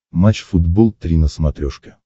матч футбол три на смотрешке